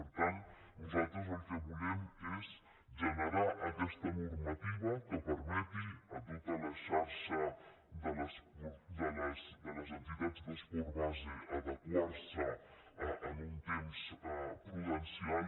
per tant nosaltres el que volem és generar aquesta normativa que permeti a tota la xarxa de les entitats d’esport base adequar s’hi en un temps prudencial